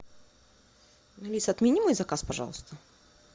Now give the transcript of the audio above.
алиса отмени мой заказ пожалуйста